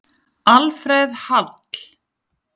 Alfreð Hall.